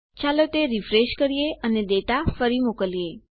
ચાલો તે રીફ્રેશ કરીએ અને ડેટા ફરી મોકલીએ